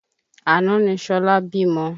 Àná ni ṣọlá bímọ.